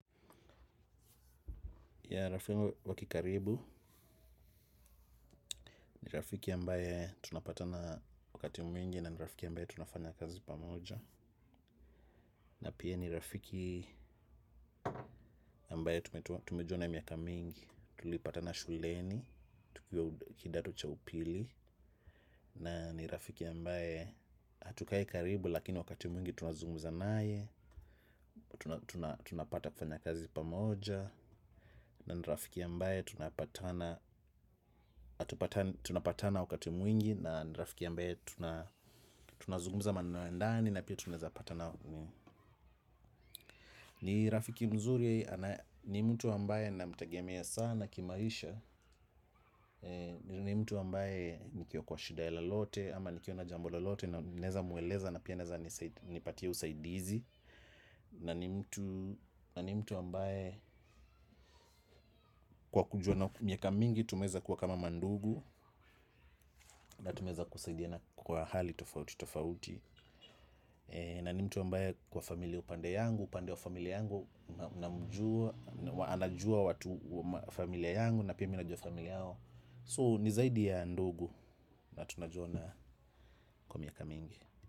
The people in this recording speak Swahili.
Ya rafiki wakikaribu, ni rafiki ambaye tunapatana wakati mwingi na ni rafiki ambaye tunafanya kazi pamoja. Na pia ni rafiki ambaye tumejuana miaka mingi, tulipatana shuleni, tukiwa kidato cha upili. Na ni rafiki ambaye hatukai karibu lakini wakati mwingi tunazugumza naye, tunapata kufanya kazi pamoja. Na ni rafiki ambaye tunapatana tunapatana wakati mwingi, na ni rafiki ambaye tunazungumza maneno ya ndani na pia tunaweza patana. Ni rafiki mzuri. Ni mtu ambaye namtegemea sana kimaisha. Ni mtu ambaye nikiwa kwa shida lolote ama nikiwa na jambo lolote naweza mueleza na pia anaweza nipatia usaidizi. Na ni mtu ambaye, kwa kujuana miaka mingi tumeweza kuwa kama mandugu. Na tumeweza kusaidiana kwa hali tofauti tofauti. Na ni mtu ambaye kwa familia upande yangu, upande wa familia yangu namjua, anajua watu wa familia yangu na pia mimi najua familia yao. So, ni zaidi ya ndugu. Na tunajuana kwa miaka mingi.